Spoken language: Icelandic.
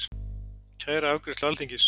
Kæra afgreiðslu Alþingis